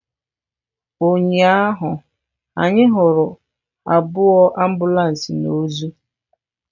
Ụnyahụ anyị hụrụ abụọ ambulances na ozu.